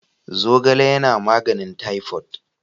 Zogale yana magnin typhoid.